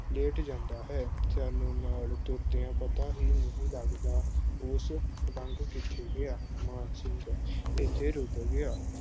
ਲਿਟ ਜਾਂਦਾ ਹੈ। ਸਾਨੂੰ ਨਾਲ ਤੁਰਦਿਆਂ ਪਤਾ ਹੀ ਨਹੀਂ ਲੱਗਦਾ ਉਹ ਲੰਘ ਕਿੱਥੇ ਗਿਆ ਮਾਨ ਸਿੰਘ, ਇੱਥੇ ਰੁਕ ਗਿਆ